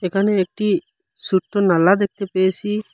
এখানেও একটি সুট্টো নালা দেখতে পেয়েসি।